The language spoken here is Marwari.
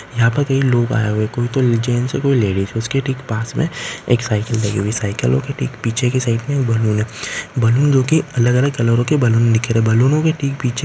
यहां पे कई लोग आए हुए है कुछ जेंट्स है कुछ लेडिज है उसके ठीक पास में एक साइकिल है।